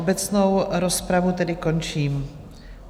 Obecnou rozpravu tedy končím.